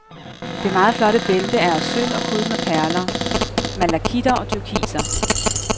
Det meget flotte bælte er af sølv og prydet med perler, malakitter og turkiser.